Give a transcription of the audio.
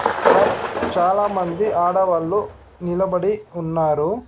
ఇక్కడ చాలామంది ఆడవాళ్ళు నిలబడి ఉన్నారు.